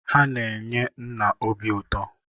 Ha na-enye nna obi ụtọ.